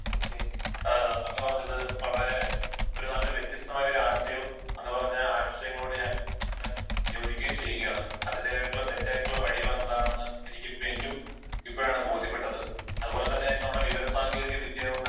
ഓ K അങ്ങ് പറഞ്ഞത് വളരെ ഒരു നല്ല വ്യത്യസ്തമായൊരു ആശയവും അങ്ങനെ പറഞ്ഞ ആശയങ്ങളോട് ഞാൻ യോജിക്കുകയും ചെയ്യുകയാണ് . അതിന്റെതായിട്ടുള്ള തെറ്റായിട്ടുള്ള വഴികൾ എന്താണെന്ന് എനിക്ക് ഇപ്പോ എനിക്കും ഇപ്പോഴാണ് ബോധ്യപ്പെട്ടത് .അത്പോലെ തന്നെ നമ്മുടെ വിവര സാങ്കേതിക വിദ്യ കൊണ്ട്